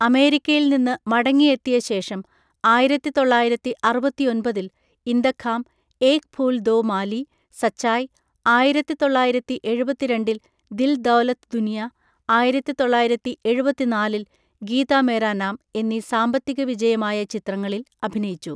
അമേരിക്കയിൽ നിന്ന് മടങ്ങിയെത്തിയ ശേഷം ആയിരത്തി തൊള്ളായിരത്തി അറുപത്തിയൊൻപതിൽ ഇന്തഖാം, ഏക് ഫൂൽ ദോ മാലി, സച്ചായ്, ആയിരത്തി തൊള്ളായിരത്തി എഴുപത്തി രണ്ടിൽ ദിൽ ദൌലത് ദുനിയ, ആയിരത്തി തൊള്ളായിരത്തി എഴുപത്തിനാലിൽ ഗീത മേരാ നാം എന്നീ സാമ്പത്തികവിജയമായ ചിത്രങ്ങളിൽ അഭിനയിച്ചു.